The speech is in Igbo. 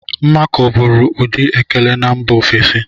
Mmakọ bụụrụ ụdị ekele na mba ofesi.